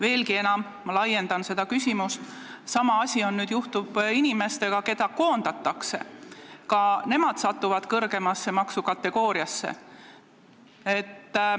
Veelgi enam, ma laiendan seda küsimust: sama asi juhtub nüüd inimestega, keda koondatakse, ka nemad satuvad kõrgemasse maksukategooriasse.